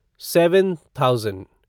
seven thousand